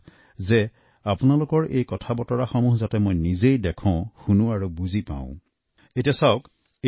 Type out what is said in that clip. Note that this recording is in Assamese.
মই আপোনালোকৰ মতামত যিমান বেছি সম্ভৱ নিজেই দেখাৰ শুনাৰ পঢ়াৰ আৰু জনাৰ চেষ্টা কৰো